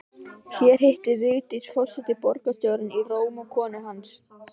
Hér hittir Vigdís forseti borgarstjórann í Róm og konu hans